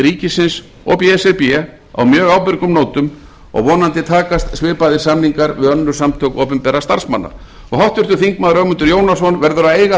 ríkisins og b s r b á mjög ábyrgum nótum og vonandi takast svipaðir samningar við önnur samtök opinberra starfsmanna háttvirtur þingmaður ögmundur jónasson verður að eiga